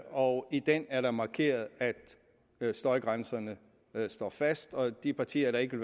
og i den er der markeret at støjgrænserne står fast og de partier der ikke